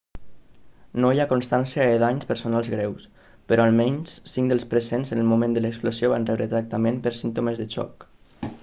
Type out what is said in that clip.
no hi ha constància de danys personals greus però almenys cinc dels presents en el moment de l'explosió van rebre tractament per símptomes de xoc